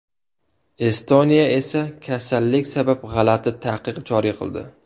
Estoniya esa kasallik sabab g‘alati taqiq joriy qildi.